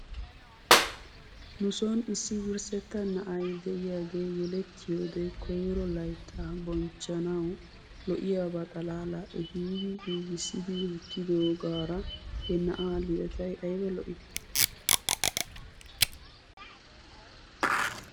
Nu son issi wurssetta na'ay de'iyaagee yelettiyoode koyro layttaa bonchchanawu lo'iyaaba xalaalaa ehidi giigissidi wottidoogaara he na'aa lidetay ayba lo'ii .